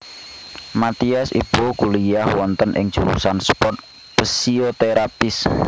Mathias Ibo kuliyah wonten ing jurusan sport physiotherapists